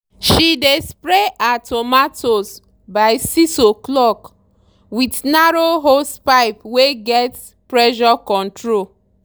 she dey spray her tomatoes by 6 o' clock with narrow hosepipe wey get pressure control.